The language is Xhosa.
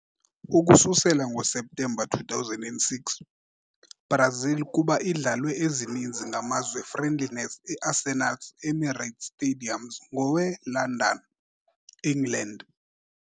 Ukususela ngoseptemba 2006, Brazil kuba idlalwe ezininzi ngamazwe friendlies e Arsenal's Emirates Stadium ngowe - London, England.